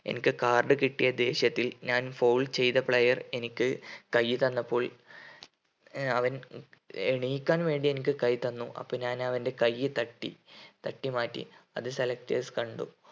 എനിക്ക് card കിട്ടിയ ദേഷ്യത്തിൽ ഞാൻ foul ചെയ്‌ത player എനിക്ക് കൈ തന്നപ്പോൾ ഏർ അവൻ എണീക്കാൻവേണ്ടി എനിക്ക് കൈ തന്നു അപ്പോ ഞാൻ അവൻ്റെ കൈ തട്ടി തട്ടിമാറ്റി അത് selectors കണ്ടു